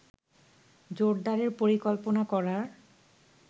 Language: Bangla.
জোরদারের পরিকল্পনা করার